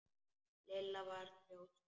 Lilla var þrjósk.